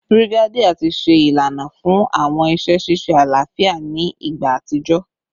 Brigadier ti ṣe ilana fun awọn iṣẹ ṣiṣe alafia ni igba atijọ